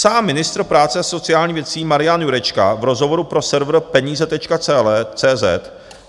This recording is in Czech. Sám ministr práce a sociálních věcí Marian Jurečka v rozhovoru pro server Peníze.